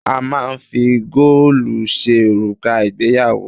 A máà ń fi góòlù ṣe òrùka ìgbéyàwó.